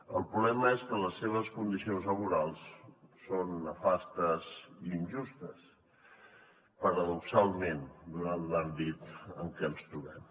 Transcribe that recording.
el problema és que les seves condicions laborals són nefastes i injustes paradoxalment donat l’àmbit en què ens trobem